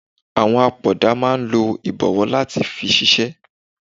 Àwọn apoda máa ń lo ibowo láti fi ṣiṣẹ́.